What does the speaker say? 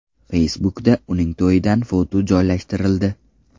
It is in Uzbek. Facebook’da uning to‘yidan foto joylashtirildi .